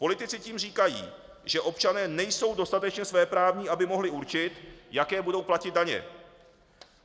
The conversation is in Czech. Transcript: Politici tím říkají, že občané nejsou dostatečně svéprávní, aby mohli určit, jaké budou platit daně.